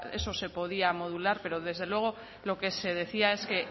eso se podía modular pero desde luego lo que se decía es que